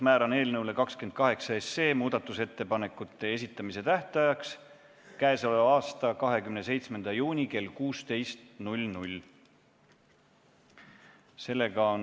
Määran muudatusettepanekute esitamise tähtajaks 27. juuni kell 16.